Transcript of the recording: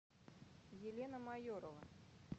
елена майорова